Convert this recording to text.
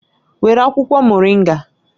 Were akwukwo Moringa